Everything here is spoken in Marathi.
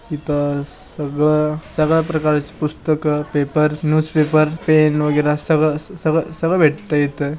इथ सगळं सगळ्या प्रकार ची पुस्तक पेपर न्यूज पेपर पेन वगैरा सगळं सगळं सगळं भेटत इथे.